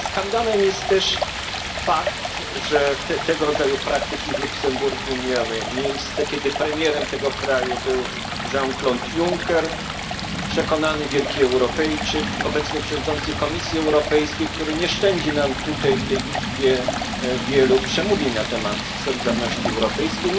Ale skandalem jest też fakt, że tego rodzaju praktyki w Luksemburgu miały miejsce, kiedy premierem tego kraju był Jean Claude Juncker, przekonany wielki Europejczyk, obecny przewodniczący Komisji Europejskiej, który nie szczędzi nam tutaj w tej Izbie wielu przemówień na temat solidarności europejskiej.